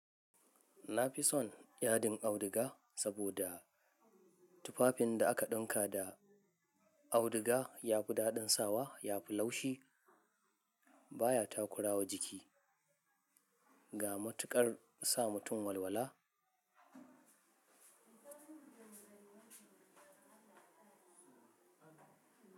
Na fi son yaɗin auduga saboda tufafin da aka ɗinka da auduga yafi daɗin sawa, yafi laushi, baya takurawa jiki ga matuƙar sa mutum walwala.